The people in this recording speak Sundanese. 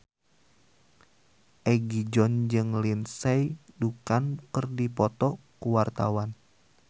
Egi John jeung Lindsay Ducan keur dipoto ku wartawan